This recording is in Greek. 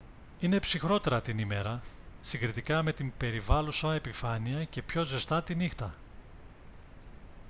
είναι ψυχρότερα την ημέρα συγκριτικά με την περιβάλλουσα επιφάνεια και πιο ζεστά τη νύχτα